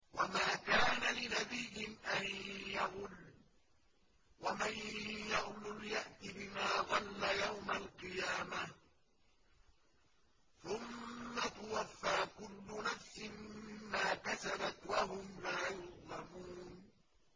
وَمَا كَانَ لِنَبِيٍّ أَن يَغُلَّ ۚ وَمَن يَغْلُلْ يَأْتِ بِمَا غَلَّ يَوْمَ الْقِيَامَةِ ۚ ثُمَّ تُوَفَّىٰ كُلُّ نَفْسٍ مَّا كَسَبَتْ وَهُمْ لَا يُظْلَمُونَ